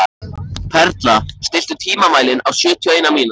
Perla, stilltu tímamælinn á sjötíu og eina mínútur.